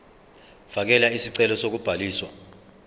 fakela isicelo sokubhaliswa